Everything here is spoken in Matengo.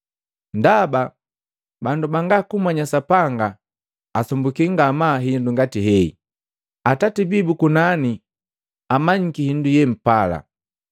Ndaba bandu banga kummanya Sapanga asumbuki ngamaa hindu ngati hei. Atati bii bukukunani amanyiki hindu ye mpala.